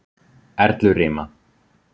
Erlurima